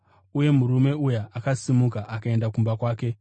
Uye murume uya akasimuka akaenda kumba kwake.